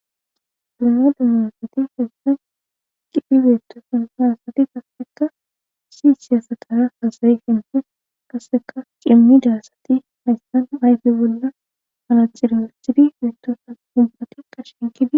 Dumma dummasati hessan qidi beetto sanhaasati kasseka si siyasatara hasayi himhen kasseka cimmi daassati haystan ayfe bolda ana ciraachidi beettosa gubbake qa shinkidi.